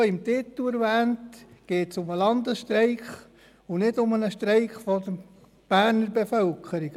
Wie im Titel erwähnt, geht es um den Landesstreik und nicht um einen Streik der Berner Bevölkerung.